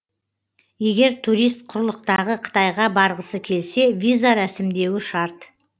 егер турист құрлықтағы қытайға барғысы келсе виза рәсімдеуі шарт